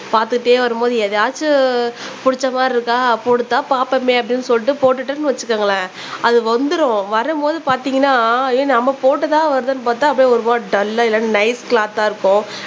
பாத்துட்டே வரும்போது எதாச்சும் புடிச்ச மாதிரி இருக்கா போட்டு தான் பாப்போமே அப்படினு சொல்லிட்டு போட்டோம்னு வச்சுக்கங்களேன் அது வந்துரும் வரும்போது பாத்திங்கனா ஏ நம்ம போட்டது தான் வருதுனு பாத்தா அப்பிடியே ஒரு மாதிரி டல்லா இல்லனா நைஸ் க்லாத்தா இருக்கும்